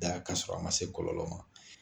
Da k'a sɔrɔ a ma se kɔlɔlɔ ma.